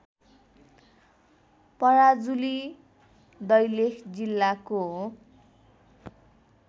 पराजुली दैलेख जिल्लाको